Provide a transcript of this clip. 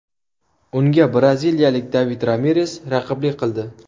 Unga braziliyalik David Ramires raqiblik qildi.